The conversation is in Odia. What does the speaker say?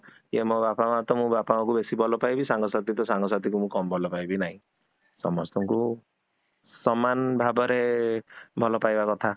ୟେ ମୋ ବାପା ମାଁ ତ ମୁଁ ବାପା ମାଁଙ୍କୁ ବେଶୀ ଭଲ ପାଇବି, ସାଙ୍ଗ ସାଥି ତ, ମୁଁ ସାଙ୍ଗ ସାଥି କୁ କମ ଭଲ ପାଇବି ନାହିଁ, ସମସ୍ତଙ୍କୁ ସମାନ ଭାବରେ ଭଲ ପାଇବା କଥା